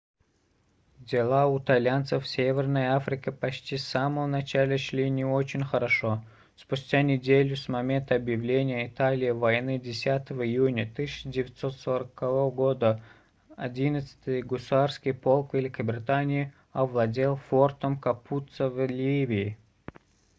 дела у итальянцев в северной африке почти с самого начала шли не очень хорошо спустя неделю с момента объявления италией войны 10 июня 1940 года 11-й гусарский полк великобритании овладел фортом капуццо в ливии